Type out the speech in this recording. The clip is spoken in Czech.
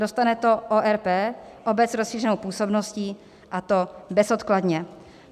Dostane to ORP, obec s rozšířenou působností, a to bezodkladně.